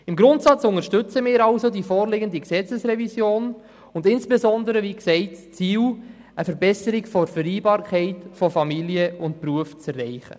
Im Grundsatz unterstützen wir die vorliegende Gesetzesrevision, insbesondere – wie gesagt – das Ziel, eine bessere Vereinbarkeit von Beruf und Familie zu erreichen.